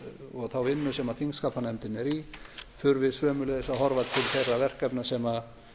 og þá vinnu sem þingskapanefndin er í þurfi sömuleiðis að horfa til þeirra verkefna sem